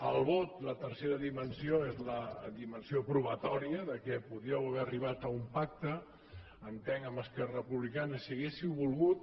el vot la tercera dimensió és la dimensió probatòria que podríeu haver arribat a un pacte entenc amb esquerra republicana si haguéssiu volgut